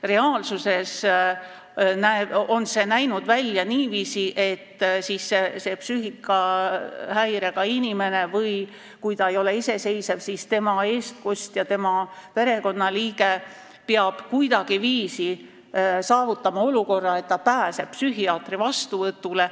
Reaalsuses on see näinud välja niiviisi, et see psüühikahäirega inimene – kui ta ei ole iseseisev, siis tema eestkostja, tema perekonnaliige – peab kuidagiviisi saavutama olukorra, et ta pääseb psühhiaatri vastuvõtule.